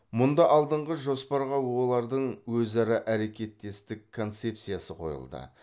мұнда алдыңғы жоспарға олардың өзара әрекеттестік концепциясы қойылды